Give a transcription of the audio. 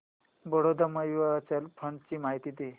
Baroda mutual fund ची माहिती दे